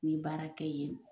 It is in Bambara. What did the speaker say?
N ye baara kɛ yen